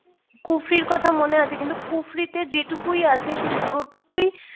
kufri ইর কথা মনে আছে কিন্তু Kufri তে যেটুকুই আছে শেষ পুরোটুকুই